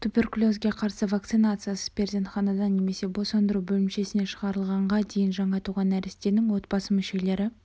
туберкулезге қарсы вакцинациясыз перзентханадан немесе босандыру бөлімшесінен шығарылғанға дейін жаңа туған нәрестенің отбасы мүшелері